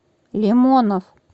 лимонов